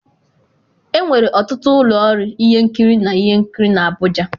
enwere ọtụtụ ụlọ ọrụ ihe nkiri na ihe nkiri na Abuja.